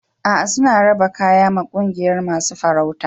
A'a, suna raba kayak ma ƙungiyan masun farautan.